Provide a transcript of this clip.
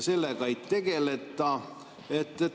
Sellega ei tegeleta.